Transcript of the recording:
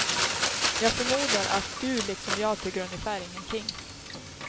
Jag förmodar att du liksom jag tycker ungefär ingenting.